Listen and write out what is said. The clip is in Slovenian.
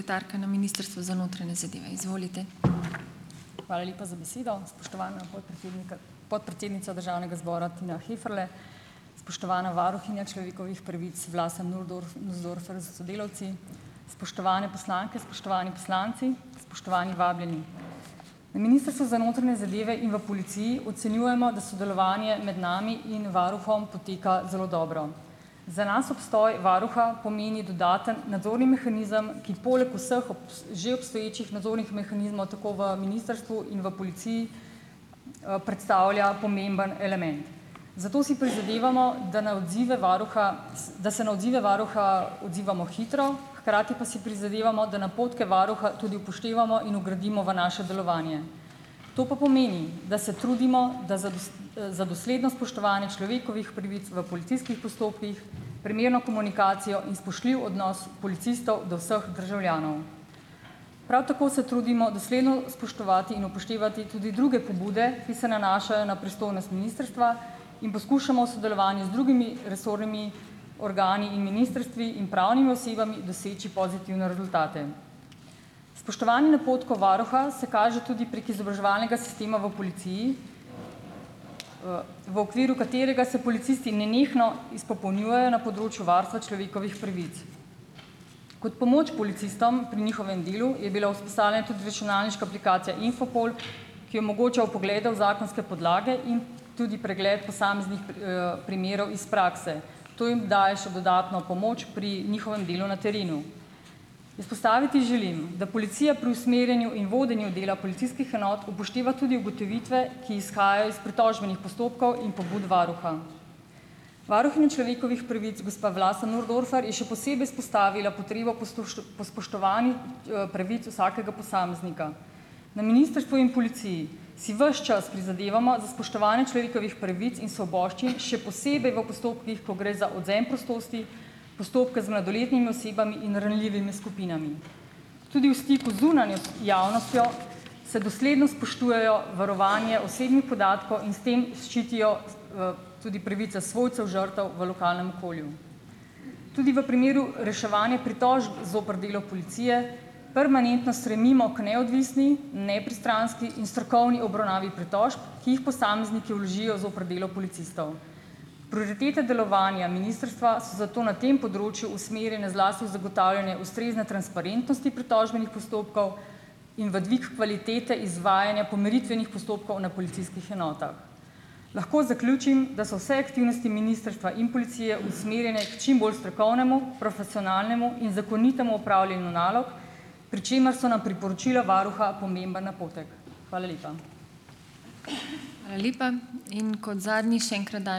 Hvala lepa za besedo. Spoštovana podpredsednika, podpredsednica državnega zbora Tina Heferle, spoštovana varuhinja človekovih pravic Vlasta Nussdorfer s sodelavci, spoštovane poslanke, spoštovani poslanci, spoštovani vabljeni! Na Ministrstvu za notranje zadeve in v policiji ocenjujemo, da sodelovanje med nami in varuhom poteka zelo dobro. Za nas obstoj varuha pomeni dodaten nadzorni mehanizem, ki poleg vseh že obstoječih nadzornih mehanizmov tako v ministrstvu in v policiji, predstavlja pomemben element. Zato si prizadevamo, da na odzive varuha da se na odzive varuha odzivamo hitro, hkrati pa si prizadevamo, da napotke varuha tudi upoštevamo in vgradimo v naše delovanje. To pa pomeni, da se trudimo, da za e za dosledno spoštovanje človekovih pravic v policijskih postopkih primerno komunikacijo in spoštljiv odnos policistov do vseh državljanov. Prav tako se trudimo dosledno spoštovati in upoštevati tudi druge pobude, ki se nanašajo na pristojnost ministrstva in poskušamo v sodelovanju z drugimi resornimi organi in ministrstvi in pravnimi osebami doseči pozitivne rezultate. Spoštovanje napotkov varuha se kaže tudi prek izobraževalnega sistema v policiji, v okviru katerega se policisti nenehno izpopolnjujejo na področju varstva človekovih pravic. Kot pomoč policistom pri njihovem delu je bila vzpostavljena tudi računalniška aplikacija Infopol, ki omogoča vpoglede v zakonske podlage in tudi pregled posameznih e primerov iz prakse. To jim daje še dodatno pomoč pri njihovem delu na terenu. Izpostaviti želim, da policija pri usmerjanju in vodenju dela policijskih enot upošteva tudi ugotovitve, ki izhajajo iz pritožbenih postopkov in pobud varuha. Varuhinja človekovih pravic gospa Vlasta Nussdorfer je še posebej izpostavila potrebo po stuštu po spoštovanju e pravic vsakega posameznika. Na ministrstvu in policiji si ves čas prizadevamo za spoštovanje človekovih pravic in svoboščin, še posebej v postopkih, ko gre za odvzem prostosti, postopke z mladoletnimi osebami in ranljivimi skupinami. Tudi v stiku z zunanjo javnostjo se dosledno spoštujejo varovanje osebnih podatkov in s tem ščitijo e tudi pravice svojcev žrtev v lokalnem okolju. Tudi v primeru reševanja pritožb zoper delo policije permanentno stremimo k neodvisni, nepristranski in strokovni obravnavi pritožb, ki jih posamezniki vložijo zoper delo policistov. Prioritete delovanja ministrstva so zato na tem področju usmerjene zlasti v zagotavljanje ustrezne transparentnosti pritožbenih postopkov in v dvig kvalitete izvajanja pomiritvenih postopkov na policijskih enotah. Lahko zaključim, da so vse aktivnosti ministrstva in policije usmerjene k čim bolj strokovnemu, profesionalnemu in zakonitemu opravljanju nalog, pri čemer so nam priporočila varuha pomemben napotek. Hvala lepa.